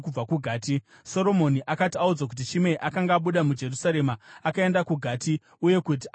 Soromoni akati audzwa kuti Shimei akanga abuda muJerusarema akaenda kuGati uye kuti akanga adzoka,